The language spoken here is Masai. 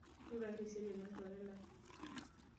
Rurai teseraiani olchore lai.